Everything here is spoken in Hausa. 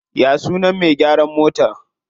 Ya sunan me gyaran motar?